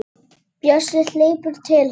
Bjössi hleypur til hennar.